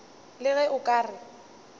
le ge o ka re